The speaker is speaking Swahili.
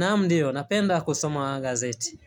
Naam ndiyo, napenda kusoma gazeti.